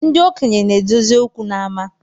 Ndị okenye na-edozi okwu n’ama